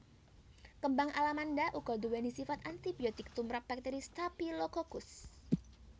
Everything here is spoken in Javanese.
Kembang alamanda uga duwéni sifat antibiotik tumrap bakteri Staphylococcus